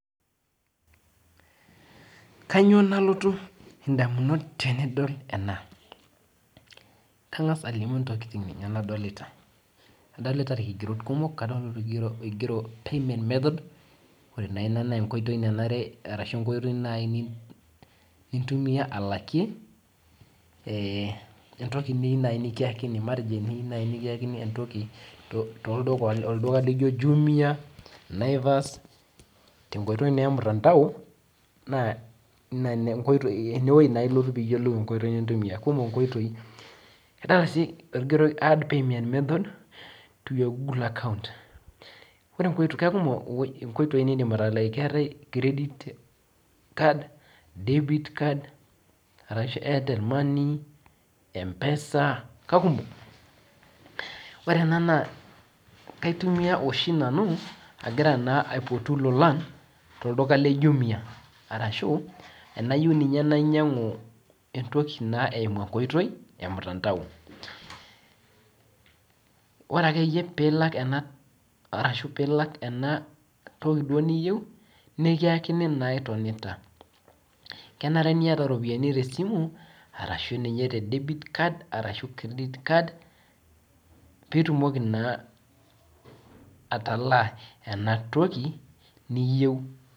Kanyio nalotu indamunot tenidol ena kangasa alimu ntokitin nadolita adolita irkigerot kumok oigero timing method ore na ina na enkoitoi nanar ashu enkoitoi nintumia alakie entoki nai niyieu nikiakini matejo tiniyieu nai nikiakini entoki tolduka lijo jumia naivas tenkooitoi ormutandao na enewueji ilotu piyolou kumol nkoitoi kigero add payment method to your Google account kekum inkoitoi nidim atalaa keetae credit card, debit card, arashu Airtel money empesa kakumok ore ena n kaitumia oshi nanu agira aipotu lolan tolduka le jumia ashu tanayieu nainyangu entoki eimu enkoitoi ormutandao ore akeyie pilak arashu pilak enatoki niyieu nikiakini itonita kenare niata ropiyani tesimu arashu nye credit card, debit card pitumoki naa ataalaa enatoki niyieu.